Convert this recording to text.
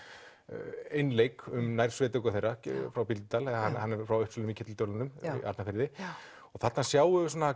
einleik um nærsveitung þeirra frá Bíldudal hann er frá Uppsölum í Keldudölunum í Arnarfirði og þarna sjáum við